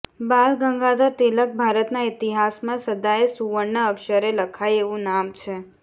બાલ ગંગાધર તિલક ભારતના ઇતિહાસમાં સદાયે સુવર્ણ અક્ષરે લખાય એવું નામ છે